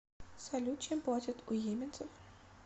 салют чем платят у йеменцев